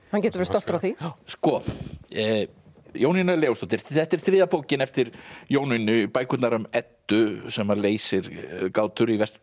hann getur verið stoltur af því Jónína Leósdóttir þetta er þriðja bókin eftir Jónínu bækurnar um Eddu sem að leysir gátur í Vesturbæ